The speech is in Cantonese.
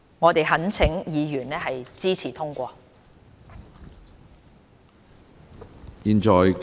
我們懇請委員支持通過。